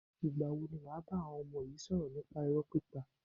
Ìgbà wo ni wàá bá àwọn ọmọ yi sọ̀rọ̀ nípa irọ́ pípa?